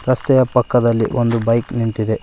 ರಸ್ತೆಯ ಪಕ್ಕದಲ್ಲಿ ಒಂದು ಬೈಕ್ ನಿಂತಿದೆ.